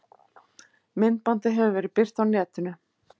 Myndbandið hefur verið birt á netinu